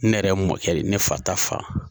Ne yɛrɛ mɔkɛ ne fa ta fa.